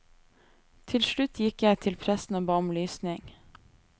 Til slutt gikk jeg til presten og ba om lysning.